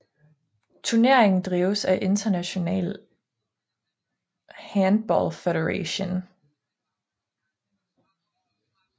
Turneringen drives af International Handball Federation